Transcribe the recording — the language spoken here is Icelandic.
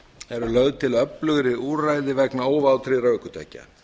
eru lögð til öflugri úrræði vegna óvátryggðra ökutækja